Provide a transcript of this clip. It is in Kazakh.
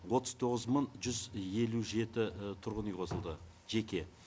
отыз тоғыз мың жүз елу жеті тұрғын үй қосылды жеке